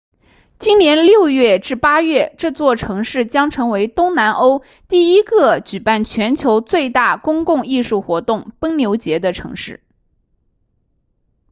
今年6月至8月这座城市将成为东南欧第一个举办全球最大公共艺术活动奔牛节的城市